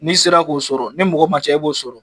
N'i sera k'o sɔrɔ ni mɔgɔ manca e b'o sɔrɔ